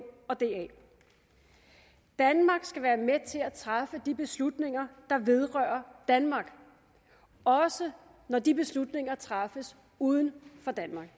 og da danmark skal være med til at træffe de beslutninger der vedrører danmark også når de beslutninger træffes uden for danmark